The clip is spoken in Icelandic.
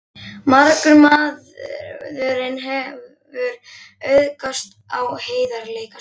Margur maðurinn hefur auðgast á heiðarleika sínum.